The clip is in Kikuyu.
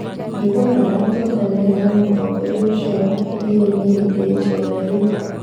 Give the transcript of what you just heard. Njũgũna ndatũnganirĩ na mũtongoria ũcio wa kĩrĩaini hĩndĩ ya I era rĩu